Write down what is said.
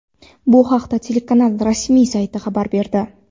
Bu haqda telekanal rasmiy sayti xabar berdi .